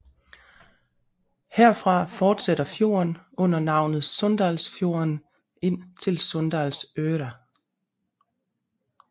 Herfra fortsætter fjorden under navnet Sunndalsfjorden ind til Sunndalsøra